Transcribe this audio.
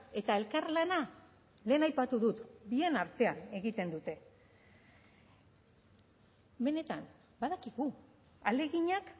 eta elkarlana lehen aipatu dut bien artean egiten dute benetan badakigu ahaleginak